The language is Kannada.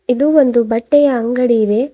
ಇದು ಒಂದು ಬಟ್ಟೆಯ ಅಂಗಡಿ ಇದೆ.